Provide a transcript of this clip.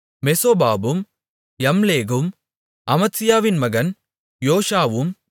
மெசோபாபும் யம்லேகும் அமத்சியாவின் மகன் யோஷாவும்